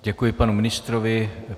Děkuji panu ministrovi.